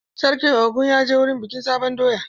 Sarkin Ogun ya je wurin bikin sabon doya?